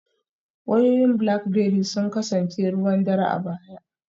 Wayoyin Blackberry sun kasance ruwan dare a baya